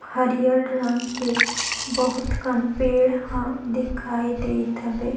हरियर रंग के बहुत कन पेड़ ह दिखाई देत हबे।